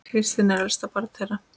Kristín var elst barna þeirra.